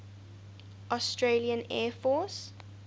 australian air force